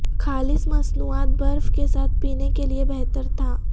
خالص مصنوعات برف کے ساتھ پینے کے لئے بہتر تھا